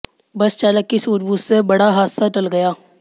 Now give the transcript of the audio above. बस चालक की सूझबूझ से बड़ा हादसा टल गया